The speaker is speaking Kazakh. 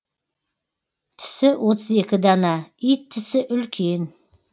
тісі отыз екі дана ит тісі үлкен